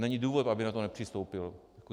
Není důvod, aby na to nepřistoupil.